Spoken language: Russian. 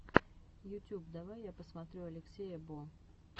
ютюб давай я посмотрю алексея бо